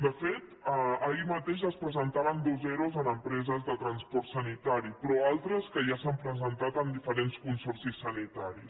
de fet ahir mateix es presentaven dos ero en empreses de transport sanitari però altres ja s’han presentat en diferents consorcis sanitaris